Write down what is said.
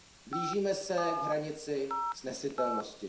Blížíme se k hranici snesitelnosti.